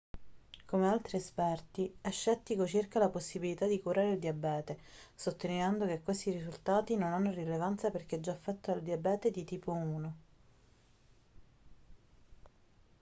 come altri esperti è scettico circa la possibilità di curare il diabete sottolineando che questi risultati non hanno rilevanza per chi è già affetto dal diabete di tipo 1